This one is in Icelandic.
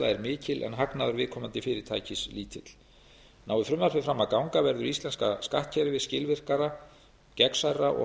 er mikil en hagnaður viðkomandi fyrirtækis lítill nái frumvarpið fram að ganga verður íslenska skattkerfið skilvirkara gegnsærra og